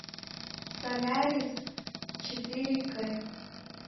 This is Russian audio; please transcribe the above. солярис четыре к